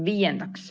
Viiendaks.